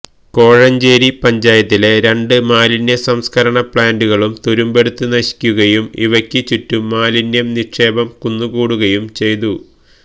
കോഴഞ്ചേരി പഞ്ചായത്തിലെ രണ്ട് മാലിന്യ സംസ്കരണ പ്ലാന്റുകളും തുരുമ്പെടുത്ത് നശിക്കുകയും ഇവയക്ക് ചുറ്റും മാലിന്യ നിക്ഷേപം കുന്നുകൂടുകയും ചെയ്തു